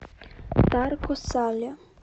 тарко сале